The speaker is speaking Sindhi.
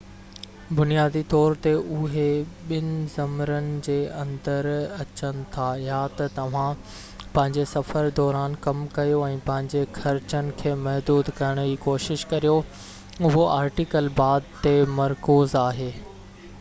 بنيادي طور تي اهي ٻن ذمرن جي اندر اچن ٿا يا ته توهان پنهنجي سفر دوران ڪم ڪيو ۽ پنهنجي خرچن کي محدود ڪرڻ جي ڪوشش ڪريو اهو آرٽيڪل بعد تي مرڪوز آهي